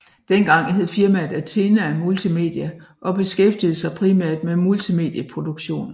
Dengang hed firmaet Athena Multimedia og beskæftigede sig primært med multimedie produktioner